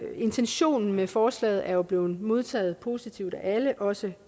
intentionen med forslaget er jo blevet modtaget positivt af alle også